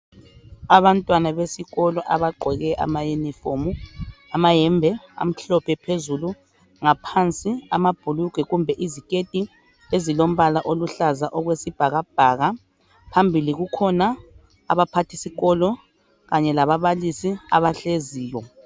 Abantwana besikolo abagqoke amayunifomu amayembe amhlophe phezulu ngaphansi amabhulugwe kumbe iziketi ezilombala oluhlaza okwesibhakabhaka phambili kukhona abaphathisikolo kanye lababalisi abahleziyo.